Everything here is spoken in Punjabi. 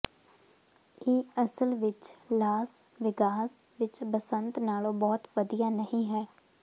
ਇਹ ਅਸਲ ਵਿੱਚ ਲਾਸ ਵੇਗਾਸ ਵਿੱਚ ਬਸੰਤ ਨਾਲੋਂ ਬਹੁਤ ਵਧੀਆ ਨਹੀਂ ਹੈ